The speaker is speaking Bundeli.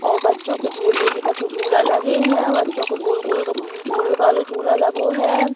और बच्चों के झुलवे के कछु झूला लगे हैं। बच्चो को गोल-गोल गम्म झुलवे वाला झूला लगो है।